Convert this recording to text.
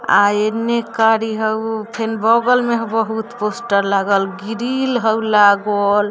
आ एने करि हउ | फिन बगल में हउ बहुत पोस्टर लागल गिरील हउ लागल।